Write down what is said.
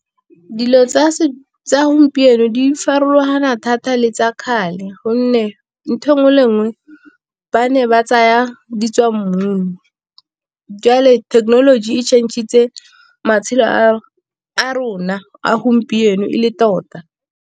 Dilo tsa gompieno di farologana thata le tsa kgale, gonne ntho engwe le engwe ba ne ba tsaya di tswa mmung jwale technology e change-itse matshelo a rona a gompieno e le tota.